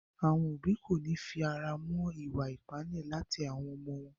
Àwọn òbí kòní fi ara mọ́ ìwa ìpáǹle láti ọwọ́ àwọn ọmọ wọn.